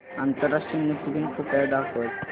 आंतरराष्ट्रीय नृत्य दिन कृपया दाखवच